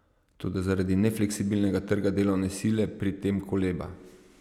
Toda zaradi nefleksibilnega trga delovne sile pri tem koleba.